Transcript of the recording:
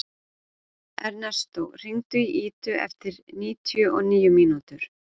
Ernestó, hringdu í Idu eftir níutíu og níu mínútur.